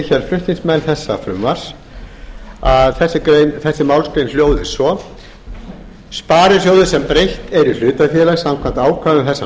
hér flutningsmenn þessa frumvarps að þessi málsgrein hljóði svo sparisjóði sem breytt er í hlutafélag samkvæmt ákvæðum þessarar